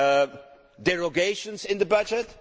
and derogations in the budget.